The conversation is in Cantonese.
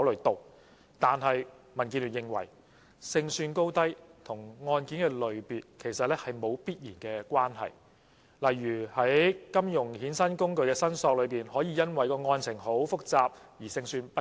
但是，民建聯認為，勝算高低與案件類別其實沒有必然關係，例如在金融衍生工具的申索中，可以因為案情複雜而勝算不高。